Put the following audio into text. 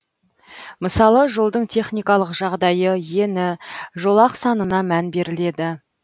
мысалы жолдың техникалық жағдайы ені жолақ санына мән беріледі